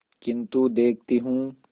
किन्तु देखती हूँ